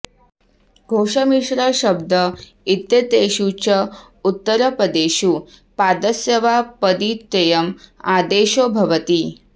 घोष मिश्र शब्द इत्येतेषु च उत्तरपदेषु पादस्य वा पदित्ययम् आदेशो भवति